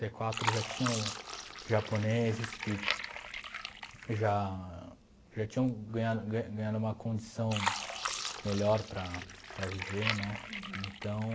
e quatro já tinham japoneses que já já tinham ganhado ga ganhado uma condição melhor para para viver, né? Então...